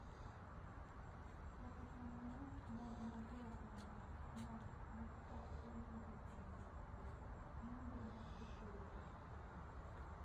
Kata kamano mon ma jo oganda no ne ok onegi e nyasi go, ng'eny gi ne ochiwore e tijno.